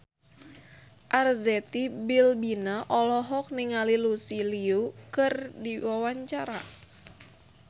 Arzetti Bilbina olohok ningali Lucy Liu keur diwawancara